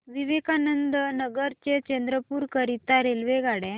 विवेकानंद नगर ते चंद्रपूर करीता रेल्वेगाड्या